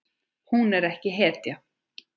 Hún er ekki hetja.